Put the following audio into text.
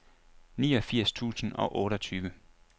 niogfirs tusind og otteogtyve